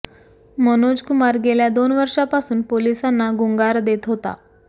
मनोजकुमार गेल्या दोन वर्षांपासून पोलिसांना गुंगार देत होता